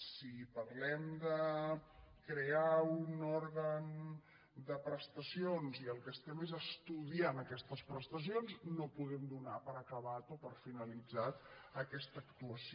si parlem de crear un òrgan de prestacions i el que estem és estudiant aquestes prestacions no podem donar per acabada o per finalitzada aquesta actuació